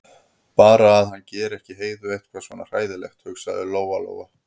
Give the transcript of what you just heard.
Bara að hann geri ekki Heiðu eitthvað svona hræðilegt, hugsaði Lóa-Lóa.